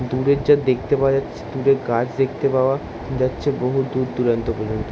দূরে যা দেখতে পাওয়া যাচ্ছে দূরে গাছ দেখতে পাওয়া যাচ্ছে বহু দূরদূরান্ত পর্যন্ত ।